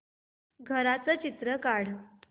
घराचं चित्र काढ